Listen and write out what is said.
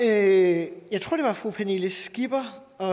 det var fru pernille skipper og